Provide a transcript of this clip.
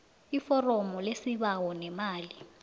iforomo lesibawo nemali